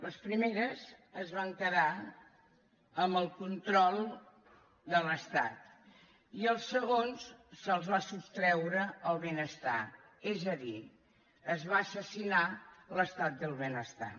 les primeres es van quedar amb el control de l’estat i als segons se’ls va sostreure el benestar és a dir es va assassinar l’estat del benestar